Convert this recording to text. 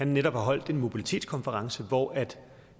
netop har holdt en mobilitetskonference hvor